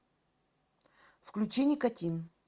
включи никотин